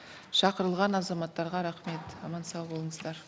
шақырылған азаматтарға рахмет аман сау болыңыздар